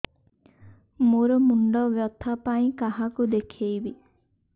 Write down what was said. ମୋର ମୁଣ୍ଡ ବ୍ୟଥା ପାଇଁ କାହାକୁ ଦେଖେଇବି